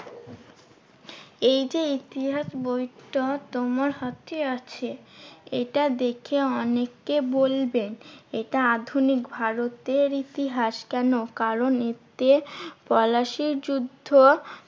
এই যে ইতিহাস বইটা তোমার হাতে আছে এটা দেখে অনেকে বলবে এটা আধুনিক ভারতের ইতিহাস কেন? কারণ এতে পলাশীর যুদ্ধ